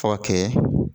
Fɔ ka kɛ